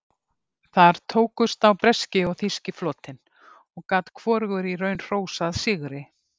Þar tókust á breski og þýski flotinn og gat hvorugur í raun hrósað sigri.